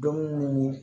Don minnu